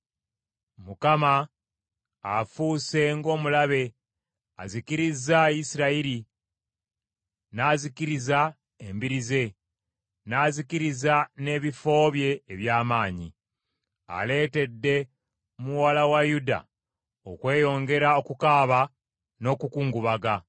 Mukama afuuse ng’omulabe; azikirizza Isirayiri, n’azikiriza embiri ze, n’azikiriza n’ebifo bye eby’amaanyi. Aleetedde muwala wa Yuda okweyongera okukaaba n’okukungubaga.